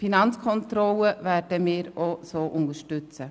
Die Finanzkontrolle werden wir ebenfalls so unterstützen.